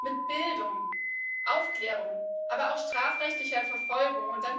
Mit Bildung, Aufklärung, aber auch strafrechtlicher Verfolgung